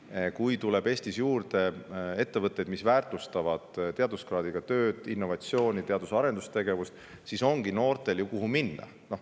Nimelt, kui Eestisse tuleb juurde ettevõtteid, mis väärtustavad teaduskraadiga tööd, innovatsiooni, teadus- ja arendustegevust, siis noortel ju ongi kohti, kuhu minna.